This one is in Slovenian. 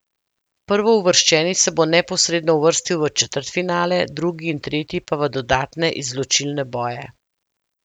Prvouvrščeni se bo neposredno uvrstil v četrtfinale, drugi in tretji pa v dodatne izločilne boje.